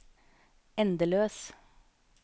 endeløs